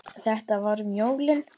Þetta var um jólin.